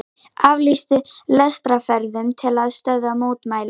Aflýstu lestarferðum til að stöðva mótmæli